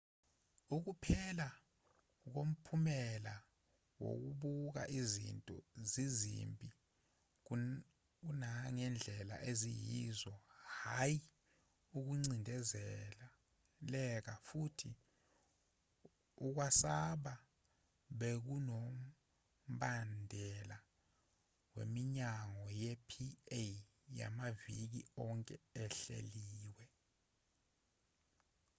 ukuphela komphumela wokubuka izinto zizimbi kunangendlela eziyiyo hhayi ukucindezeleka futhi ukwasaba bekunombandela wemihlangano ye-pa yamaviki onke ehleliwe